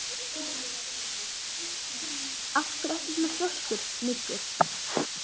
Af hverju ertu svona þrjóskur, Muggur?